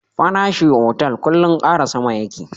Farashi otal kullun kara sama yake